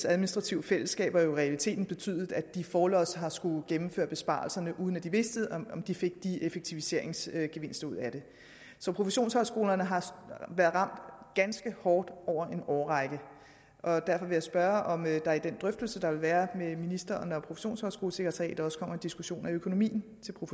administrative fællesskaber jo i realiteten betydet at de forlods har skullet gennemføre besparelserne uden at de vidste om de fik effektiviseringsgevinster ud af det så professionshøjskolerne har været ramt ganske hårdt over en årrække og derfor vil jeg spørge om der i den drøftelse der vil være mellem ministeren og professionshøjskolesekretariatet også kommer en diskussion af økonomien